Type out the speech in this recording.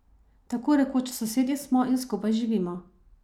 Tako rekoč sosedje smo in skupaj živimo.